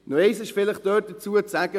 Eines ist dazu zu sagen: